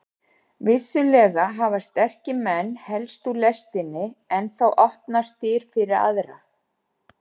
Vissulega hafa sterkir menn hellst úr lestinni en þá opnast dyr fyrir aðra.